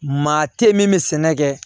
Maa tɛ min bɛ sɛnɛ kɛ